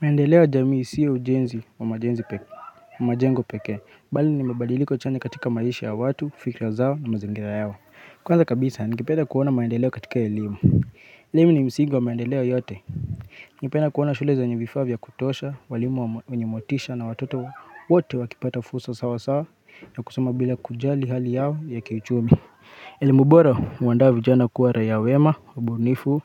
Maendeleo ya jamii sio ujenzi wa majengo pekee, bali ni mabadiliko chanya katika maisha ya watu, fikra zao na mazingira yao. Kwanza kabisa, ningepeda kuona maendeleo katika elimu. Limu ni msingi wa maendeleo yote. Ningependa kuona shule zenye vifaa vya kutosha, walimu wenye motisha na watoto wote wakipata fursa sawa sawa ya kusoma bila kujali hali yao ya kiuchumi. Elimu bora huandaa vijana kuwa raia wema, wabunifu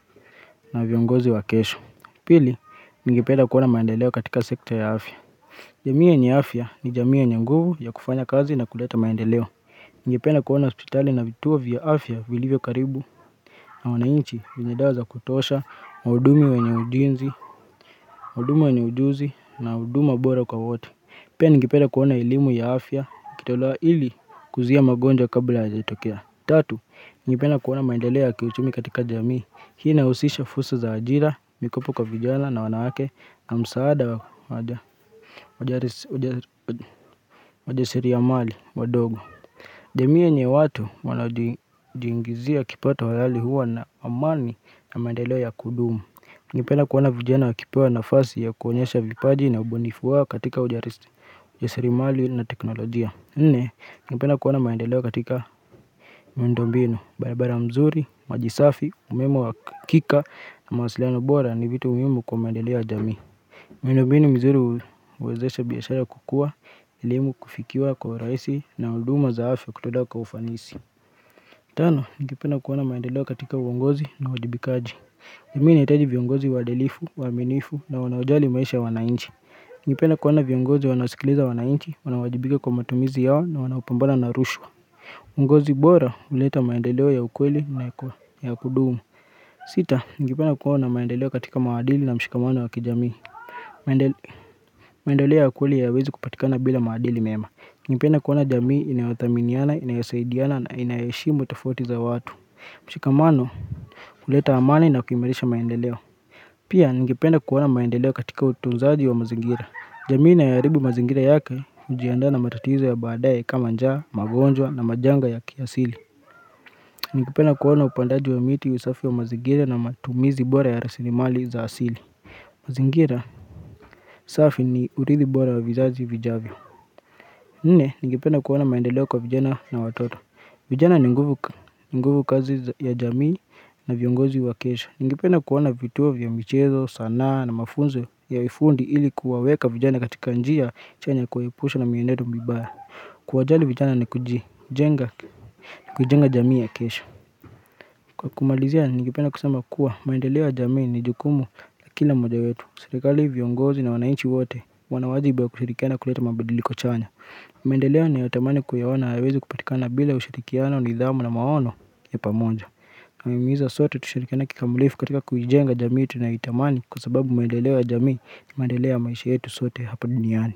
na viongozi wa kesho. Pili, ningependa kuona maendeleo katika sekta ya afya. Jamii yenye afya ni jamii yenye nguvu ya kufanya kazi na kuleta maendeleo. Ningependa kuona hospitali na vituo vya afya vilivyo karibu na wananchi venye dawa za kutosha, waudumi wenye ujinzi, waudumu wenye ujuzi na huduma bora kwa wote. Pia, ningepeda kuona elimu ya afya, ikitolewa ili kuzuia magonjwa kabla yajatokea. Tatu, ningependa kuona maendeleo ya kiuchumi katika jamii. Hii inahusisha fursa za ajira, mikopo kwa vijana na wanawake na msaada wajarisi ya mali, wadogo jamii yenye watu wanajiingizia kipato halali huwa na amani na maendeleo ya kudumu Ningependa kuona vijana wakipewa nafasi ya kuonyesha vipaji na ubunifu wao katika ujasiri mali na teknolojia Nne, ningependa kuona maendeleo katika miundo mbinu, barabara mzuri, maji safi, umeme wa kika na mawasiliano bora ni vitu muhimu kwa maendeleo jamii. Miundo mbinu mizuri huwezesha biashara kukua, elimu kufikiwa kwa urahisi na huduma za afya kutolewa kwa ufanisi. Tano, ningependa kuona maendeleo katika uongozi na uwajibikaji. Jamii inahitaji viongozi waadilifu, waaminifu na wanaojali maisha wananchi. Ningependa kuona viongozi wanasikiliza wananchi, wanawajibika kwa matumizi yao na wanaopambana na rushwa uongozi bora huleta maendeleo ya ukweli na ya kudumu Sita, ningependa kuona maendeleo katika maadili na mshikamano wa kijamii maendeleo ya kweli yawezi kupatikana bila maadili mema ningependa kuona jamii inayothaminiana, inayosaidiana na inayoheshimu tofauti za watu mshikamano huleta amani na kuimarisha maendeleo Pia, ningependa kuona maendeleo katika utunzaji wa mazingira jamii inayo haribu mazingira yake hujiandaa na matatizo ya baadaye kama njaa, magonjwa na majanga ya kiasili. Ningependa kuona upandaji wa miti usafi wa mazingira na matumizi bora ya rasilimali za asili. Mazingira safi ni urithi bora wa vizazi vijavyo. Nine, ningependa kuona maendeleo kwa vijana na watoto. Vijana ni nguvu kazi ya jamii na viongozi wa kesho. Ningependa kuona vituo vya mchezo, sanaa na mafunzo ya vifundi ili kuwaweka vijana katika njia chanya kuhepusha na mienendo mbibaya. Kuwajali vijana ni kuji, jenga, kuijenga jamii ya kesho. Kwa kumalizia, ningependa kusema kuwa maendeleo ya jamii ni jukumu na kila moja wetu. Sirikali viongozi na wananchi wote wanawajibu ya kushirikiana kuleta mabadiliko chanya. Maendeleo nayotamani kuyaona yawezi kupatikana bila ushirikiano nidhamu na maono ya pamoja. Nawahimiza sote tushirikiane kikamulifu katika kuijenga jamii tunayoitamani kwa sababu maedeleo ya jamii ni maedeleo ya maishi yetu sote hapa duniani.